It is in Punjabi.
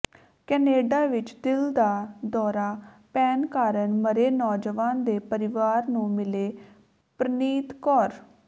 ਕੈਨੇਡਾ ਵਿੱਚ ਦਿਲ ਦਾ ਦੌਰਾ ਪੈਣ ਕਾਰਨ ਮਰੇ ਨੌਜਵਾਨ ਦੇ ਪਰਿਵਾਰ ਨੂੰ ਮਿਲੇ ਪ੍ਰਨੀਤ ਕੌਰ